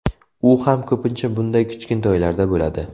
U ham ko‘pincha bunday kichkintoylarda bo‘ladi.